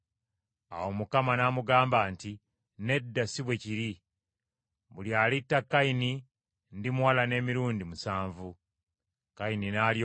Awo Mukama n’amugamba nti, “Nedda si bwe kiri. Buli alitta Kayini ndimuwalana emirundi musanvu.” Awo Mukama n’ateeka akabonero ku Kayini, buli amulaba aleme okumutta.